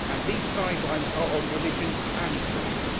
These guidelines are on religion and belief.